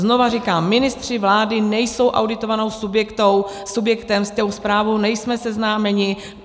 Znovu říkám, ministři vlády nejsou auditovaným subjektem, s tou zprávou nejsme seznámeni.